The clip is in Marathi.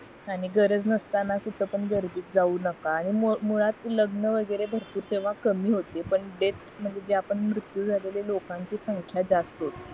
आणि गरज नास्ताना कुठं पण गर्दीत जाऊ नका हे मुळात लग्न वगैरे भरपूर तेव्हा कमी होते पण डेथ म्हणजे जे आपण मृत्यू झालेलं लोकांची संख्या जास्त होती